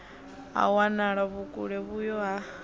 ha wanala vhukule vhuyo ha